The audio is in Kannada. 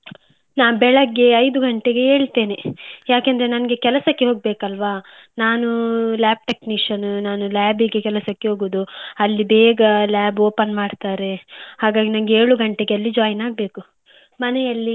ನಾನು ಬೆಳಗ್ಗೆ ಐದು ಗಂಟೆಗೆ ಏಳ್ತೆನೆ, ಯಾಕೆಂದ್ರೆ ನನ್ಗೆ ಕೆಲ್ಸಕ್ಕೆ ಹೋಗ್ಬೇಕು ಅಲ್ವಾ. ನಾನು lab technician ನಾನು lab ಗೆ ಕೆಲಸಕ್ಕೆ ಹೋಗುದು ಅಲ್ಲಿ ಬೇಗ lab open ಮಾಡ್ತಾರೆ, ಹಾಗಾಗಿ ನನ್ಗೆ ಏಳು ಗಂಟೆಗೆ ಅಲ್ಲಿ join ಆಗ್ಬೇಕು ಮನೆಯಲ್ಲಿ.